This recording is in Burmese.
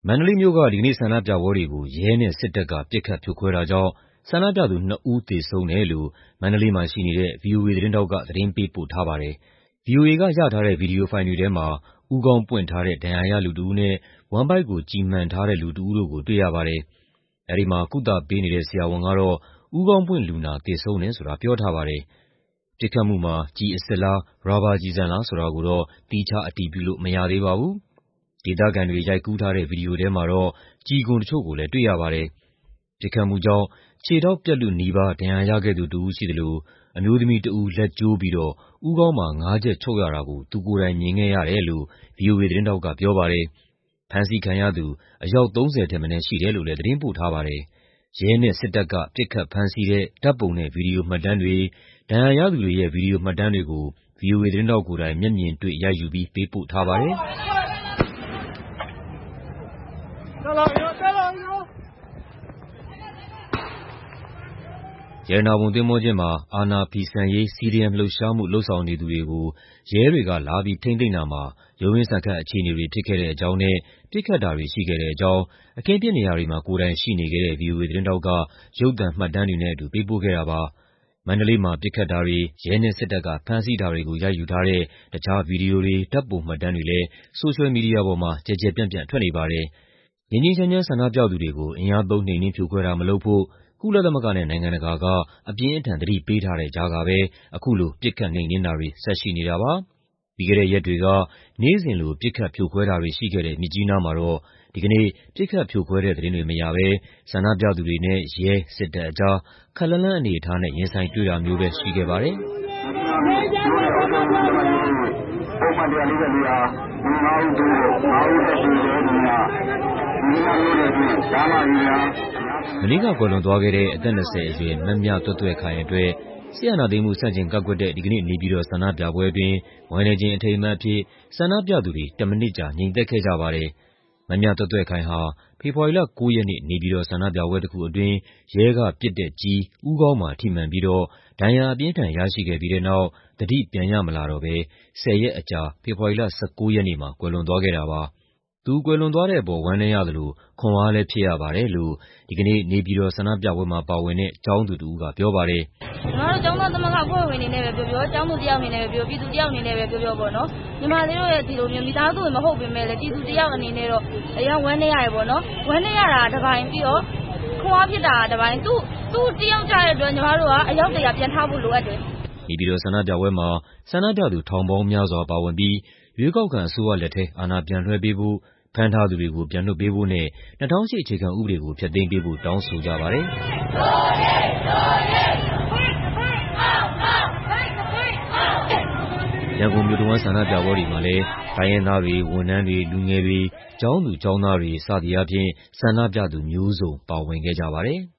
န္တလေးမြို့က ဒီကနေ့ဆန္ဒပြပွဲတွေကို ရဲနဲ့စစ်တပ်က ပစ်ခတ်ဖြိုခွဲတာကြောင့် ဆန္ဒပြသူ ၂ ဦး သေဆုံးတယ်လို့ မန္တလေးမှာရှိနေတဲ့ ဗွီအိုအေသတင်းထောက်က သတင်းပေးပို့ထားပါတယ်။ ဗွီအိုအေက ရထားတဲ့ ဗွီဒီယိုဖိုင်တွေထဲမှာ ဦးခေါင်းပွင့်ထားတဲ့ ဒဏ်ရာရ လူတဦးနဲ့ ဝမ်းဗိုက်ကို ကျည်မှန်ထားတဲ့ လူတဦးတို့ကို တွေ့ရပါတယ်။ အဲဒီမှာ ကုသပေးနေတဲ့ ဆရာဝန်တဦးကတော့ ဦးခေါင်းပွင့်လူနာ သေဆုံးတယ်ဆိုတာ ပြောထားပါတယ်။ ပစ်ခတ်မှုမှာ ကျည်အစစ်လား ရာဘာကျည်ဆန်လား ဆိုတာကိုတော့ သီးခြားအတည်ပြုလို့ မရသေးပါဘူး။ ဒေသခံတွေ ရိုက်ကူးထားတဲ့ ဗွီဒီယိုထဲမှာတော့ ကျည်ခွံတချို့ကိုလည်း တွေ့ရပါတယ်။ ပစ်ခတ်မှုကြောင့် ခြေထောက်ပြတ်လုနီးပါး ဒဏ်ရာရခဲ့သူတဦး ရှိသလို အမျိုးသမီးတဦး လက်ကျိုးပြီးတော့ ဦးခေါင်းမှာ ၅ ချက် ချုပ်ရတာကို သူကိုယ်တိုင်မြင်ခဲ့ရတယ်လို့ ဗွီအိုအေသတင်းထောက်က ပြောပါတယ်။ ဖမ်းဆီးခံရသူ အယောက် ၃၀ ထက်မနည်း ရှိတယ်လို့လည်း သတင်းပို့ထားပါတယ်။ ရဲနဲ့တပ်က ပစ်ခတ်ဖမ်းဆီးတဲ့ ဓာတ်ပုံနဲ့ ဗွီဒီယိုမှတ်တမ်းတွေ၊ ဒဏ်ရာရသူတွေရဲ့ ဗွီဒီယိုမှတ်တမ်းတွေကို ဗွီအိုအေသတင်းထောက်ကိုယ်တိုင် မျက်မြင်တွေ့ ရိုက်ယူပြီး ပေးပို့ထားပါတယ်။ ရတနာပုံသင်္ဘောကျင်းမှာ အာဏာဖီဆန်ရေး CDM လှုပ်ရှားမှု လုပ်ဆောင်နေသူတွေကို ရဲတွေက လာပြီး ထိန်းသိမ်းတာမှာ ရုန်းရင်းဆန်ခတ် အခြေအနေတွေ ဖြစ်ခဲ့တဲ့အကြောင်းနဲ့ ပစ်ခတ်တာတွေရှိခဲ့တဲ့အကြောင်း အခင်းဖြစ်နေရာတွေမှာ ကိုယ်တိုင်ရှိနေခဲ့ဲတဲ့ ဗွီအိုအေသတင်းထောက်က ရုပ်သံမှတ်တမ်းတွေနဲ့အတူ ပေးပို့ခဲ့ပါတယ်။ မန္တလေးမှာ ပစ်ခတ်တာတွေ၊ ရဲနဲ့ စစ်တပ်က ဖမ်းဆီးတာတွေကို ရိုက်ယူထားတဲ့ တခြား ဗွီဒီယိုတွေ၊ ဓာတ်ပုံမှတ်တမ်းတွေလည်း ဆိုရှယ်မီဒီယာပေါ်မှာ ကျယ်ကျယ်ပျံ့ပျံ့ထွက်နေပါတယ်။ ငြိမ်းငြိမ်းချမ်းချမ်း ဆန္ဒပြသူတွေကို အင်အားသုံး နှိမ်နင်းဖြိုခွဲတာမလုပ်ဖို့ ကုလသမဂ္ဂနဲ့ နိုင်ငံတကာက အပြင်းအထန် သတိပေးထားတဲ့ကြားကပဲ အခုလို ပစ်ခတ်နှိမ်နင်းတာတွေ ဆက်ရှိနေတာပါ။ ပြီးခဲ့တဲ့ရက်တွေက နေ့စဉ်လို ပစ်ခတ်ဖြိုခွဲတာတွေရှိခဲ့တဲ့ မြစ်ကြီးနားမှာတော့ ဒီကနေ့ ပစ်ခတ်ဖြိုခွဲတဲ့သတင်းတွေ မရဘဲ ဆန္ဒပြသူတွေနဲ့ ရဲ၊ စစ်တပ်ကြား ခပ်လှမ်းလှမ်းအနေအထားနဲ့ ရင်ဆိုင်တွေ့တာမျိုးပဲရှိခဲ့ပါတယ်။ မနေ့ကကွယ်လွန်သွားခဲ့တဲ့ အသက် ၂၀ အရွယ် မမြသွဲ့သွဲ့ခိုင်အတွက် စစ်အာဏာသိမ်းမှု ဆန့်ကျင်ကန့်ကွက်တဲ့ ဒီကနေ့ နေပြည်တော်ဆန္ဒပြပွဲအတွင်း ဝမ်းနည်းခြင်း အထိမ်းအမှတ်အဖြစ် ဆန္ဒပြသူတွေ ၁ မိနစ်ကြာ ငြိမ်သက်ခဲ့ကြပါတယ်။ မမြသွဲ့သွဲ့ခိုင်ဟာ ဖေဖော်ဝါရီလ ၉ ရက်နေ့ နေပြည်တော် ဆန္ဒပြပွဲတခုအတွင်း ရဲကပစ်တဲ့ကျည် ဦးခေါင်းမှာ ထိမှန်ပြီးတော့ ဒဏ်ရာအပြင်းအထန် ရရှိခဲ့ပြီးတဲ့နောက် သတိပြန်ရမလာတော့ဘဲ ၁၀ ရက်အကြာ ဖေဖော်ဝါရီလ ၁၉ ရက်နေ့မှာ ကွယ်လွန်သွားခဲ့တာပါ။ သူကွယ်လွန်သွားတဲ့အပေါ် ဝမ်းနည်းရသလို ခွန်အားလည်း ဖြစ်ရပါတယ်လို့ ဒီကနေ့ နေပြည်တော်ဆန္ဒပြပွဲမှာ ပါဝင်တဲ့ ကျောင်းသူတဦးက ပြောပါတယ်။ “ညီမတို့ ကျောင်းသားသမဂ္ဂ အဖွဲ့ဝင်အနေနဲ့ပဲ ပြောပြော၊ ကျောင်းသူတယောက် အနေနဲ့ပဲ ပြောပြော၊ ပြည်သူတယောက်အနေနဲ့ပဲ ပြောပြော ညီမလေးတို့ရဲ့ မိသားစုဝင် မဟုတ်ပေမယ့်လည်း ပြည်သူတယောက် အနေနဲ့တော့ အရမ်းဝမ်းနည်းရတယ်။ ဝမ်းနည်းရတာက တပိုင်း၊ ပြီးတော့ ခွန်အားဖြစ်တာက တပိုင်း၊ သူတယောက် ကျတဲ့အတွက် ညီမတို့က အယောက် ၁၀၀ ပြန်ထဖို့ လိုအပ်တယ်။” နေပြည်တော်ဆန္ဒပြပွဲမှာ ဆန္ဒပြသူ ထောင်ပေါင်းများစွာပါဝင်ပြီး ရွေးကောက်ခံအစိုးရလက်ထဲ အာဏာပြန်လွှဲပေးဖို့၊ ဖမ်းထားသူတွေကို ပြန်လွှတ်ပေးဖို့နဲ့ ၂၀၀၈ အခြေခံဥပဒေကို ဖျက်သိမ်းပေးဖို့ တောင်းဆိုကြပါတယ်။ ရန်ကုန်မြို့တဝန်း ဆန္ဒပြပွဲတွေမှာလည်း တိုင်းရင်းသားတွေ၊ ဝန်ထမ်းတွေ၊ လူငယ်တွေ၊ ကျောင်းသူကျောင်းသားတွေ စသည်အားဖြင့် ဆန္ဒပြသူမျိုးစုံ ပါဝင်ခဲ့ကြပါတယ်။